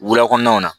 Wula kɔnɔnaw na